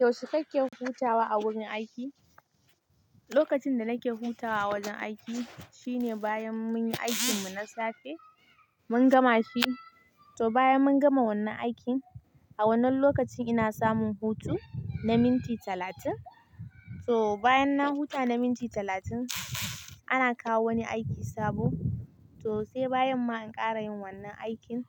Yaushe kike hutawa a wurin aiki? Lokacin da nake hutawa a wajen aiki shine bayan mun yi aikin mu na safe, mun gama shi. To bayan mun gama wannan aikin, a wannan lokacin ina samun hutu na minti talatin. To bayan na huta na minti talatin, ana kawo wani aiki sabo. To sai bayan ma in ƙara yin wannan aikin.